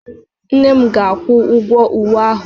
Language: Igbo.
Nne m ga-akwụ-ụgwo ụwe ahụ